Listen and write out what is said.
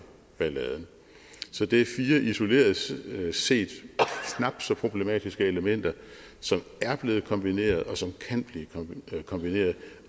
balladen det er fire isoleret set knap så problematiske elementer som er blevet kombineret og som kan blive kombineret